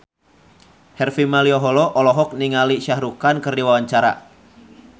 Harvey Malaiholo olohok ningali Shah Rukh Khan keur diwawancara